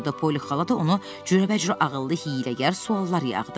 Poli xala da onu cürəbəcürə ağıllı hiyləgər suallar yağdırırdı.